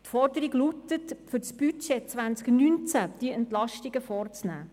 Die Forderung lautet, diese Entlastungen für das Budget 2019 vorzunehmen.